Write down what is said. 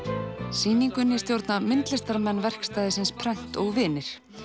sýningunni stjórna myndlistarmenn verkstæðisins prent og vinir